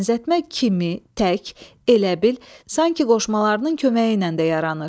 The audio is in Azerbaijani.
Bənzətmə kimi, tək, elə bil, sanki qoşmalarının köməyi ilə də yaranır.